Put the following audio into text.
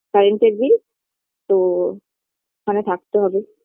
Current - এর bill তো ওখানে থাকতে হবে